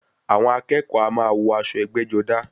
Àwọn akẹ́kọ̀ọ́ a máa wọ aṣọ ẹgbẹ́-jọdá.